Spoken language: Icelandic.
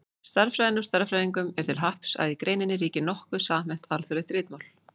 Stærðfræðinni og stærðfræðingum er til happs að í greininni ríkir nokkuð samhæft, alþjóðlegt ritmál.